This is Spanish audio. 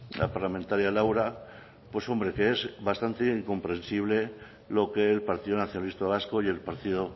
la parlamentaria laura pues hombre que es bastante incomprensible lo que el partido nacionalista vasco y el partido